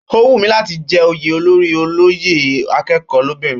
Ó wù mí láti jẹ́ oyè olórí olóyè akẹ́kọ̀ọ́ lóbìnrin